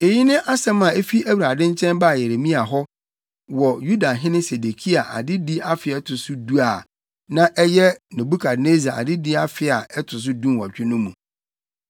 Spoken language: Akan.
Eyi ne asɛm a efi Awurade nkyɛn baa Yeremia hɔ wɔ Yudahene Sedekia adedi afe a ɛto so du a na ɛyɛ Nebukadnessar adedi afe a ɛto so dunwɔtwe no mu.